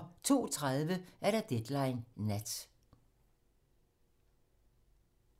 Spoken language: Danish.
02:30: Deadline nat